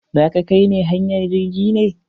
Za ka kai ne hanyar jirgin ne?